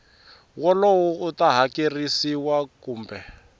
wolowo u ta hakerisiwa kumbe